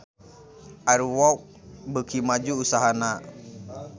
Air Walk beuki maju usahana